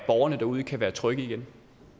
borgerne derude kan være trygge igen